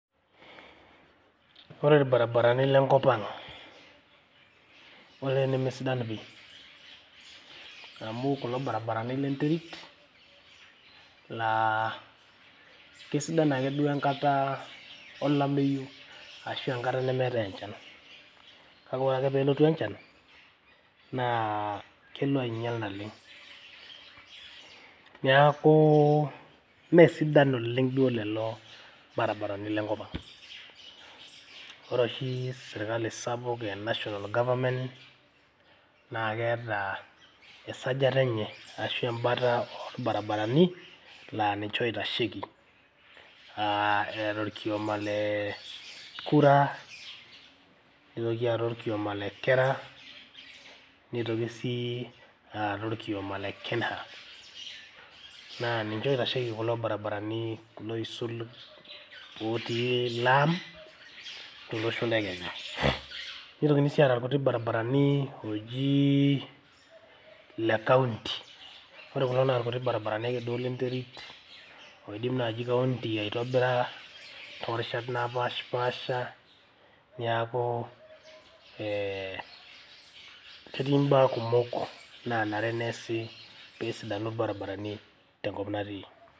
Ore ilbaribarani le nkop ang, olee nemesidan pii. Amu kulo baribarani le nterit laa keisidan ake duo tenkata olameyu ashu enkata nemeetai enchan. Kake ore ake pee elotu enchan naa kelo ainyial naleng. Niaku mme sidan oleng duo lelo baribarani le nkop ang. Ore oshi sirkali sapuk e national goverment naa keeta esajata enye ashu em`bata oo olbaribarani laa ninche oitasheki aa eeta orkioma le KURA, neitoki aata olkioma le KERRA, neitoki sii aata olkioma le KENHA. Naa ninche oitasheki kulo baribarani neisul otii laam to losho le Kenya. Neitoki sii aata ilkutik barabarani looji le county. Ore kulo baribarani naa ilkuti ake duo le nterit oidim naaji kaunti aitobira too rishat napashipaasha. Niaku eeh ketii im`baa kumok naanare neasi pee sidanu ilbaribarani tenkop natii.